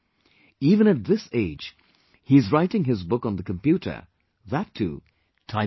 Even at this age, he is writing his book on the computer; that too, typing himself